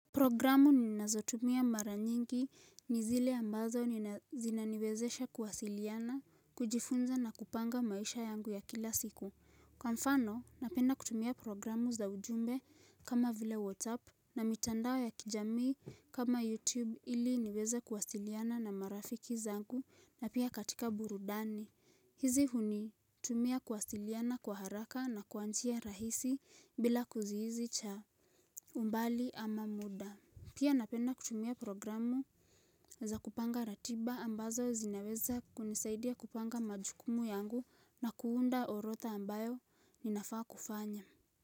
Programu ninazotumia mara nyingi ni zile ambazo zinazinaniwezesha kuwasiliana, kujifunza na kupanga maisha yangu ya kila siku. Kwa mfano, napenda kutumia programu za ujumbe kama vile WhatsApp na mitandao ya kijamii kama YouTube ili niweze kuwasiliana na marafiki zangu na pia katika burudani. Hizi hunitumia kuwasiliana kwa haraka na kwa njia rahisi bila kizuizi cha umbali ama muda. Pia napenda kutumia programu za kupanga ratiba ambazo zinaweza kunisaidia kupanga majukumu yangu na kuunda orotha ambayo ninafaa kufanya.